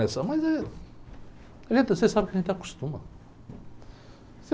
Mas é, a gente, você sabe que a gente acostuma.